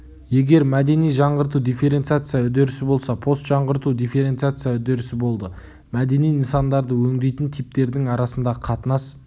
егер мәдени жаңғырту дифференциация үдерісі болса постжаңғырту дифференциация үдерісі болды мәдени нысандарды өңдейтін типтердің арасындағы қатынас